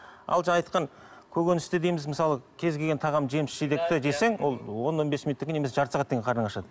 ал жаңа айтқан көкөністе дейміз мысалы кез келген тағам жеміс жидекті жесең ол он он бес минуттан кейін немесе жарты сағаттан кейін қарның ашады